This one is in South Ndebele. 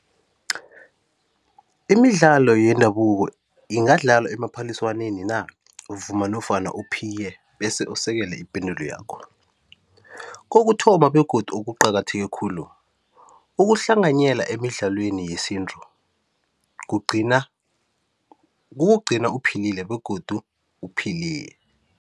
Imidlalo yendabuko ingadlalwa emaphaliswaneni na? Vuma nofana uphike bese usekele ipendulo yakho. Kokuthoma, begodu okuqakatheke khulu ukuhlanganyela emidlalweni yesintu kugcina, kukugcina uphilile begodu uphili